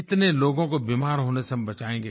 कितने लोगों को हम बीमार होने से बचाएँगे